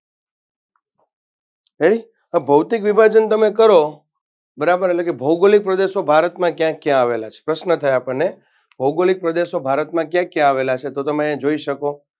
Ready ભૌતિક વિભાજન તમે કરો બરાબર એટલેકે ભૌગોલિક પ્રદેશો ભારતમાં કયા કયા આવેલા છે? પ્રશ્ન થાય આપણને ભૌગોલિક પ્રદેશો ભારતમાં કયા કયા આવેલા છે તો તમે અહિયાં જોઈ શકો